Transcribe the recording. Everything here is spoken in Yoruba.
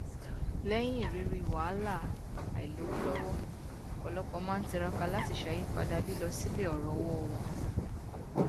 lẹyìn ìrírí wàhálà àìlówó lọwọ ọpọlọpọ máa n tiraka láti ṣàyípadà lílọ sílẹ ọrọ owó wọn